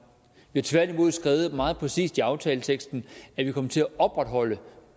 vi har tværtimod skrevet meget præcist i aftaleteksten at vi kommer til at opretholde